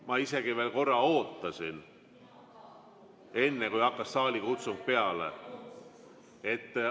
Ma isegi veel ootasin, enne kui saalikutsung peale hakkas.